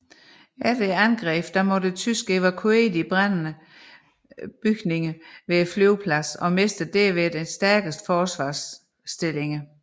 Efter angrebene måtte tyskerne evakuere de brændende bygninger ved flyvepladsen og mistede derved deres stærkeste forsvarsstillinger